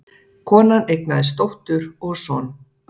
Konan eignaðist dóttur og son